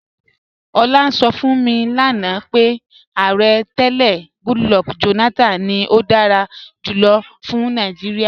Ọ̀lá ǹ sọ̀ fún mi lánà pé Ààrẹ̀ tẹlẹ̀ Goodluck Jonathan ni ó dára júlọ̀ fún Nàìjíríà.